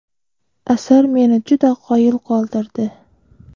Asar meni juda qoyil qoldirdi.